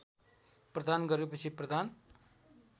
प्रदान गरेपछि प्रदान